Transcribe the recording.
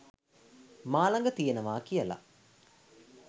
මා ළඟ තියෙනවා කියලා.